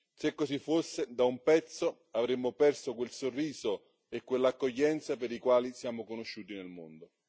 Se così fosse, da un pezzo avremmo perso quel sorriso e quell'accoglienza per i quali siamo conosciuti nel mondo.